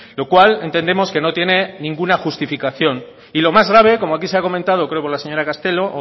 lo cual entendemos que no tiene ninguna justificación y lo más grave como aquí se ha comentado creo que la señora castelo o